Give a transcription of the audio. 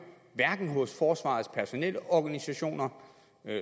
hos forsvarets personelorganisationerfagforeninger